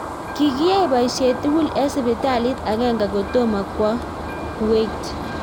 Kikiyae poisiet tugul eng sipitalit agenge kotomo kwoo kuwait